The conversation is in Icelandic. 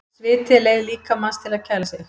Sviti er leið líkamans til þess að kæla sig.